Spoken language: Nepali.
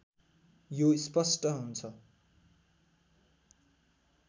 यो स्पष्ट हुन्छ